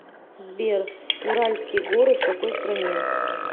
сбер уральские горы в какой стране